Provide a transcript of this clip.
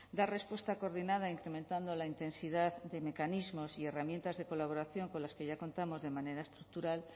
dar respuesta coordinada incrementando la intensidad de mecanismos y herramientas de colaboración con las que ya contamos de manera estructural